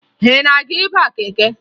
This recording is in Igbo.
Ị na-aga ịba keke?